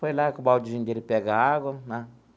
Foi lá com o baldezinho dele pegar água né.